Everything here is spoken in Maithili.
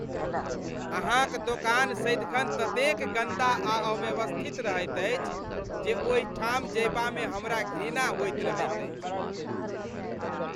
अहाँक दोकान सदिखन ततेक गन्दा आ अव्यवस्थित रहैत अछि जे ओहिठाम जयबामे हमरा घृणा होइत रहैत अछि।